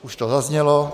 Už to zaznělo.